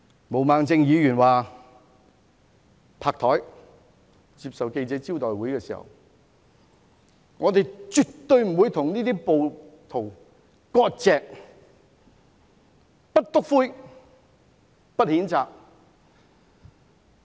毛孟靜議員在記者招待會上拍桌表示，絕對不會與這些暴徒割席，不"篤灰"，不譴責。